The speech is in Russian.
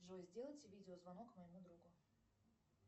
джой сделайте видеозвонок моему другу